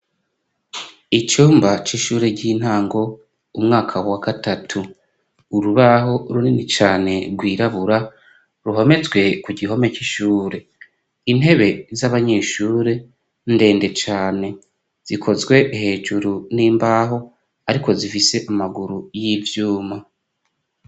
Icumba c'ishure ry'intango umwaka wa gatatu, urubaho runini cane rwirabura ruhometswe kugihome c'ishure, intebe z'abanyeshure ndende cane zikozwe hejuru n'imbaho ariko zifise amaguru y'ivyuma.